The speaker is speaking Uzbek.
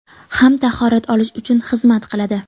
ham tahorat olish uchun xizmat qiladi.